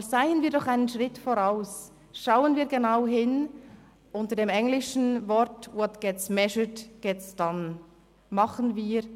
Aber seien wir einen Schritt voraus, und sehen wir genau hin im Sinn des englischen Sprichworts «What gets measured gets done!».